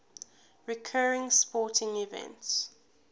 recurring sporting events